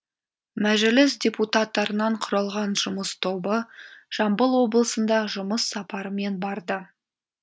мәжіліс депутаттарынан құралған жұмыс тобы жамбыл облысында жұмыс сапарымен барды